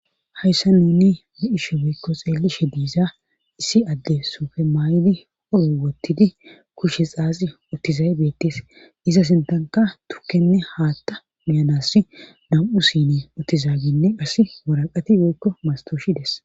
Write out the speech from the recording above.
hayssa nUni bei7ishe woyekko xeelishe diiza issi adde suufe maay7idi oro wottidi kushe xaazi uttizayi beettees iza sintanka tukkenne haatta Uiyanas nam7u sinne uttizaaginne qas waraqati woykko mastoshides